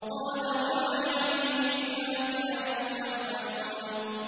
قَالَ وَمَا عِلْمِي بِمَا كَانُوا يَعْمَلُونَ